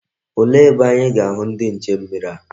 Olee ebe anyi ga-ahu ndi nche mmiri a?